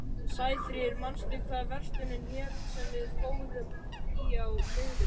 Sæfríður, manstu hvað verslunin hét sem við fórum í á miðvikudaginn?